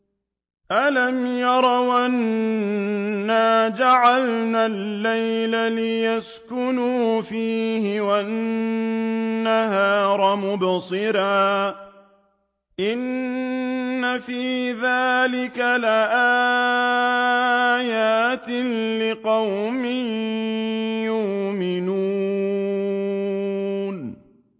أَلَمْ يَرَوْا أَنَّا جَعَلْنَا اللَّيْلَ لِيَسْكُنُوا فِيهِ وَالنَّهَارَ مُبْصِرًا ۚ إِنَّ فِي ذَٰلِكَ لَآيَاتٍ لِّقَوْمٍ يُؤْمِنُونَ